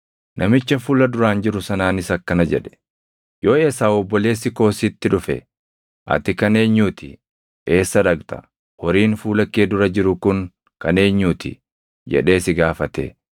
Namicha fuula duraan jiru sanaanis akkana jedhe: “Yoo Esaaw obboleessi koo sitti dhufe, ‘Ati kan eenyuu ti? Eessa dhaqxa? Horiin fuula kee dura jiru kun kan eenyuu ti?’ jedhee si gaafate,